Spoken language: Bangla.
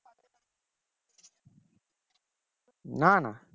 না না